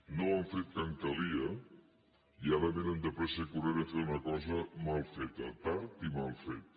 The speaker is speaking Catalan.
no ho han fet quan calia i ara vénen de pressa i corrent a fer una cosa mal feta tard i mal feta